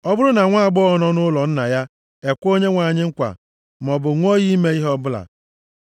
“Ọ bụrụ na nwaagbọghọ nọ nʼụlọ nna ya ekwe Onyenwe anyị nkwa maọbụ ṅụọ iyi ime ihe ọbụla,